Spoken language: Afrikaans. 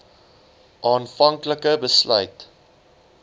aanvank like besluit